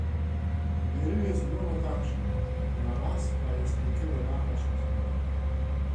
Meril je zelo natančno, Navas pa je stekel v napačno smer.